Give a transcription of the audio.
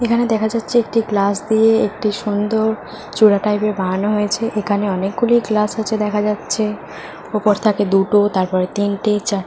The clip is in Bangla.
এখানে দেখা যাচ্ছে একটি গ্লাস দিয়ে একটি সুন্দর চূড়া টাইপের বানানো হয়েছে । এখানে অনেকগুলো গ্লাস আছে দেখা যাচ্ছে । ওপাশ থাকে দুটো তারপরে তিনটে চারটে --